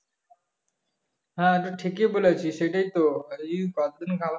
হ্যাঁ এটা ঠিকই বলেছিস সেটাই তো .